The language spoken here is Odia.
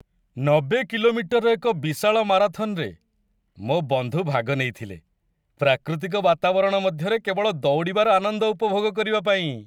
୯୦ କି.ମି.ର ଏକ ବିଶାଳ ମାରାଥନରେ ମୋ ବନ୍ଧୁ ଭାଗ ନେଇଥିଲେ, ପ୍ରାକୃତିକ ବାତାବରଣ ମଧ୍ୟରେ କେବଳ ଦୌଡ଼ିବାର ଆନନ୍ଦ ଉପଭୋଗ କରିବା ପାଇଁ!